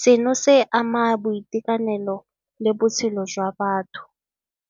Seno se ama boitekanelo le botshelo jwa batho.